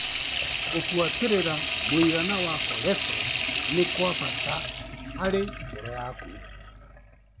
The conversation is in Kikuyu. Kũbuatĩrĩra mũigana wa korecotrol ni kwa bata harĩ ngoro yaku.